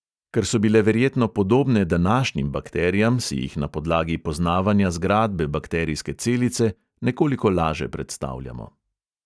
Ker so bile verjetno podobne današnjim bakterijam, si jih na podlagi poznavanja zgradbe bakterijske celice nekoliko laže predstavljamo.